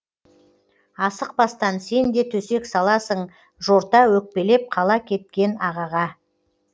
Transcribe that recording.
асықпастан сен де төсек саласың жорта өкпелеп қала кеткен ағаға